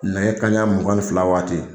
Nɛgɛ kanɲa mugan ni fila waati.